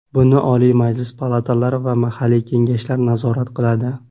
Buni Oliy Majlis palatalari va mahalliy kengashlar nazorat qiladi.